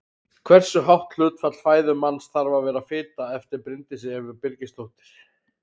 Hversu hátt hlutfall fæðu manns þarf að vera fita eftir Bryndísi Evu Birgisdóttur.